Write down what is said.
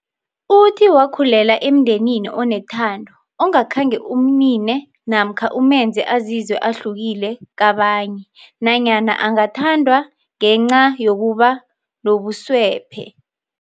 Uthi wakhulela emndenini onethando ongakhange umnine namkha umenze azizwe ahlukile kabanye nanyana angathandwa ngenca yokuba nobuswephe.